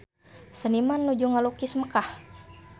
Seniman nuju ngalukis Mekkah